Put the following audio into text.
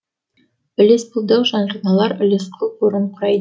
үлеспұлдық жарналар үлеспұл қорын құрайды